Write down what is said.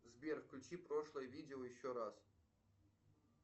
сбер включи прошлое видео еще раз